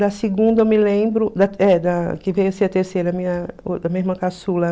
Da segunda eu me lembro, que veio a ser a terceira, minha irmã caçula.